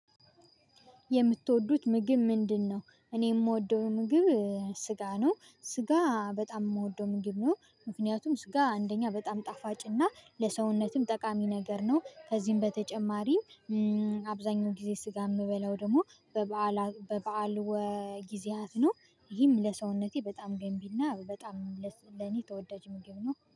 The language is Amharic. የምትወዱት ምግብ ምንድነው? እኔ የምወደው ምግብ ስጋ ነው። ስጋ በጣም የምወደው ምግብ ነው ምክንያቱም ስጋ አንደኛ በጣም ጣፋጭ እና ለሰውነትም ጠቃሚ ነገር ነው ከዚህም በተጨማሪ አብዛኛውን ጊዜ ስጋ የምበላው ደግሞ በ በዓላት በ በዓል ወጊዜያት ነው። ይህም ለሰውነቴ በጣም ገንቢና በጣም ለኔ ተወዳጅ ምግብ ነው።